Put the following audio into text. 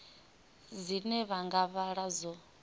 dzine vha nga vhala dzo